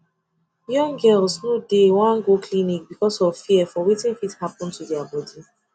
young girls no dey wan go clinic because of fear for wetin fit happen to their body